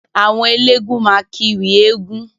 Àwọn elégún máa kiwì eegún.